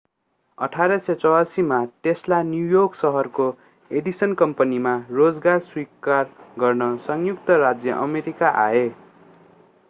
1884 मा Tesla New York शहरको Edison कम्पनीमा रोजगार स्वीकार गर्न संयुक्त राज्य अमेरिका आए